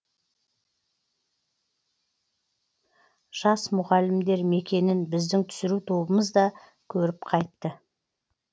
жас мұғалімдер мекенін біздің түсіру тобымыз да көріп қайтты